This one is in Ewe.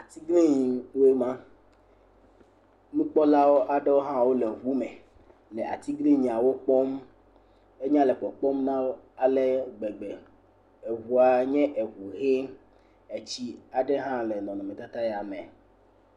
Atiglinyiwoe ma, nukpɔla aɖewo hã wole ŋu me le atiglinyiawo kpɔm. Enya le kpɔkpɔm na wo ale gbegbe, ŋua nye ŋu ʋie. Tsi aɖe hã le nɔnɔmetata ya me.